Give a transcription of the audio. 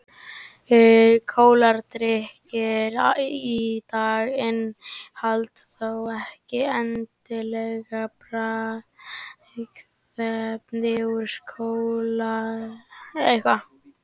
kóladrykkir í dag innihalda þó ekki endilega bragðefni úr kólahnetu